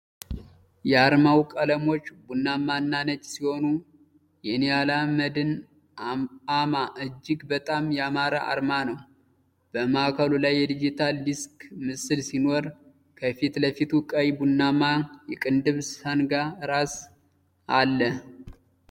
የአርማው ቀለሞች ቡናማ እና ነጭ ሲሆኑ፣ የንያላ መድን አ.ማ እጅግ በጣም ያማረ አርማ ነው። በማዕከሉ ላይ የዲጂታል ዲስክ ምስል ሲኖር፣ ከፊት ለፊቱ ቀይ ቡናማ የቅንድብ ሰንጋ ራስ አለ።